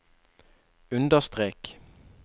understrek